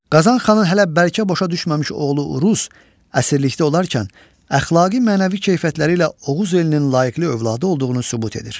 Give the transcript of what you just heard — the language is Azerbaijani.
Qazan xanın hələ bəlkə boşa düşməmiş oğlu Uruz əsirlikdə olarkən əxlaqi-mənəvi keyfiyyətləri ilə Oğuz elinin layiqli övladı olduğunu sübut edir.